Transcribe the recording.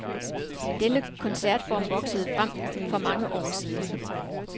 Denne koncertform voksede frem for mange år siden.